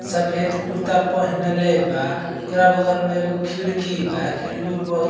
सफ़ेद कुरता पहिनले बा। ओकरा बगल में एगो खिड़की बा। खिड़की में बहुत --